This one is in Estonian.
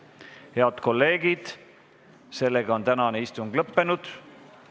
Head kolleegid, tänane istung on lõppenud.